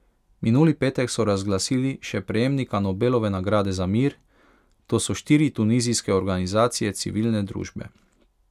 Minuli petek so razglasili še prejemnika Nobelove nagrade za mir, to so štiri tunizijske organizacije civilne družbe.